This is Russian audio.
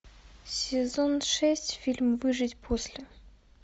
сезон шесть фильм выжить после